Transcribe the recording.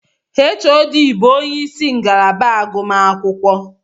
HOD bụ ónyé ịsị ngalaba agụmakwụkwọ.